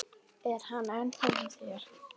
Er hann ennþá hjá þér?